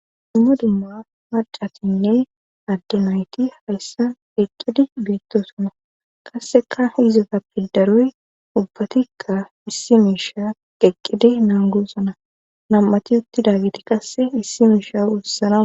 dummo dumma macatinne addemayti hayssan qeqqidi beettosona qasseka hizota pildaroy ubbatikka issi miisha qeqqidi nangosana nam7ati uttida giti qasse issi miisha ussana